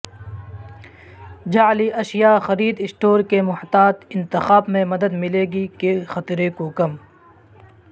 جعلی اشیاء خرید اسٹور کے محتاط انتخاب میں مدد ملے گی کے خطرے کو کم